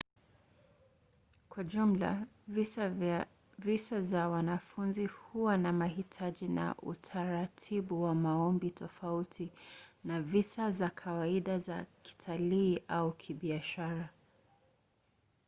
kwa jumla visa za wanafunzi huwa na mahitaji na utaratibu wa maombi tofauti na visa za kawaida za kitalii au kibiashara